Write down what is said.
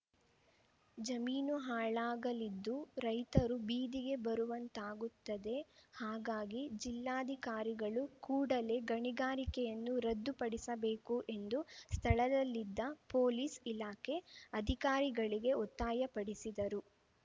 ಜಮೀನು ಹಾಳಾಗಲಿದ್ದು ರೈತರು ಬೀದಿಗೆ ಬರುವಂತಾಗುತ್ತದೆ ಹಾಗಾಗಿ ಜಿಲ್ಲಾಧಿಕಾರಿಗಳು ಕೂಡಲೇ ಗಣಿಗಾರಿಕೆಯನ್ನು ರದ್ದು ಪಡಿಸಬೇಕು ಎಂದು ಸ್ಥಳದಲ್ಲಿದ್ದ ಪೋಲೀಸ್‌ ಇಲಾಖೆ ಅಧಿಕಾರಿಗಳಿಗೆ ಒತ್ತಾಯಪಡಿಸಿದರು